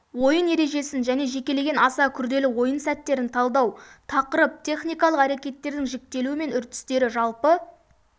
ойын ережесін және жекелеген аса күрделі ойын сәттерін талдау тақырып техникалық әрекеттердің жіктелуі мен үрдістері жалпы